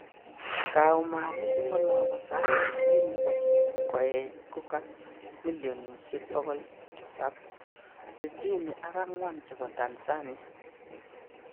kaumanik en olon bo sait sisit nebo koech ko ga millionisiek bokol tisap, sitini ak angwan chebo Tanzania